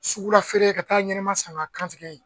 Sugula feere ka taa ɲɛnama san ka kantigɛ yen